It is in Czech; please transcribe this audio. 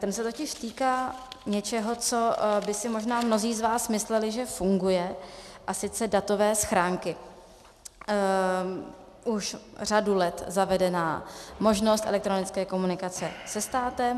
Ten se totiž týká něčeho, co by si možná mnozí z vás mysleli, že funguje, a sice datové schránky, už řadu let zavedená možnost elektronické komunikace se státem.